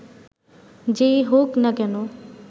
যেই হোক না কেন